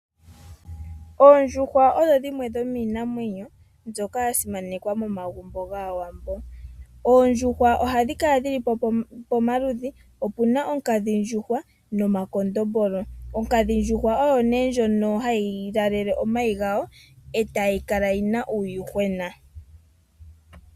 Oondjuhwa odho dhimwe dhomiinamwenyo mbyoka yasimanekwa momagumbo gwAawambo. Oondjuhwa ohadhi kala dhili pomaludhi. Opuna onkadhindjuhwa nomakondombolo. Onkadhindjuhwa ohayi langele omayi gawo nokonima ohayi kavala uuyuhwena.